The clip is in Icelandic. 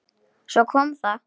Svo kom það.